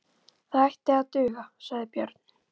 Þetta ætti að duga, sagði Björn.